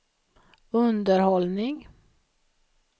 underhållning